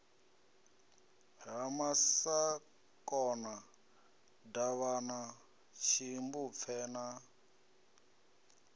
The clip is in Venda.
ha masakona davhana tshimbupfe na